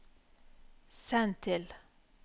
send til